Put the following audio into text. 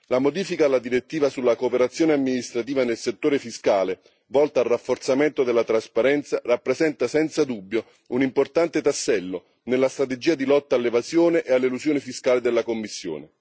La modifica della direttiva sulla cooperazione amministrativa nel settore fiscale volta al rafforzamento della trasparenza rappresenta senza dubbio un importante tassello nella strategia di lotta all'evasione e all'elusione fiscale della Commissione.